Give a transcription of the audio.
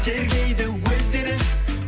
тергейді өздері